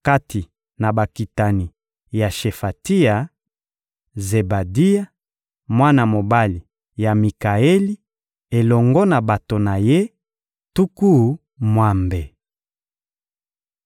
Kati na bakitani ya Shefatia: Zebadia, mwana mobali ya Mikaeli, elongo na bato na ye tuku mwambe.